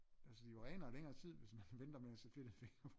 Altså de er jo renere i længere tid hvis man venter med at sætte fedtede fingre på